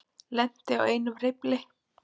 Lenti á einum hreyfli